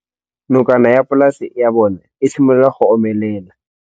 Nokana ya polase ya bona, e simolola go omelela.